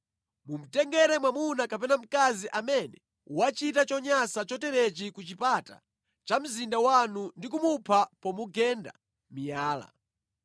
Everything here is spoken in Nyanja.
mumutengere mwamuna kapena mkazi amene wachita chonyansa choterechi ku chipata cha mzinda wanu ndi kumupha pomugenda miyala.